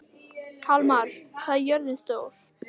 Kalmara, hvað er jörðin stór?